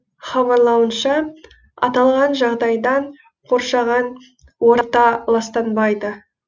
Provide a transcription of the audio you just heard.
хабарлауынша аталған жағдайдан қоршаған орта ластанбайды